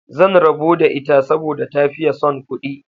Zan rabo da ita saboda ta fiye son kudi